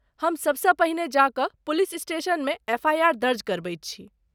हम सबसँ पहिने जा कऽ पुलिस स्टेशनमे एफआईआर दर्ज करबैत छी।